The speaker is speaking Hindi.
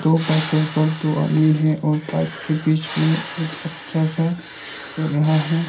दो बाइक के ऊपर दो आदमी है और बाइक के बीच में एक बच्चा सा खेल रहा है।